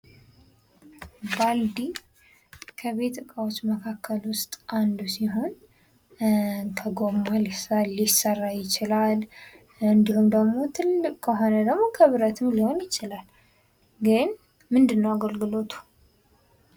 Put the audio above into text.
ባልዲ ከቤት እቃዎች መካከል ዉስጥ አንዱ ሲሆን ከጎማ ሊሰራ ይችላል እንዲሁም ደግሞ ትልቅ ከሆነ ደግሞ ከብረትም ሊሆን ይችላል። ግን ምንድን ነው አገልግሎቱ?